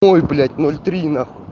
ой блять ноль три нахуй